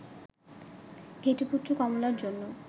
ঘেটুপুত্র কমলা'র জন্য